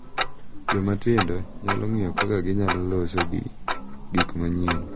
Joma tindo nyalo ng’iyo kaka ginyalo loso gik manyien